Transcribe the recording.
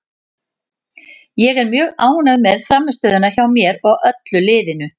Ég er mjög ánægð með frammistöðuna hjá mér og öllu liðinu.